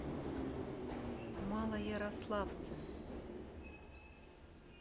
малоярославце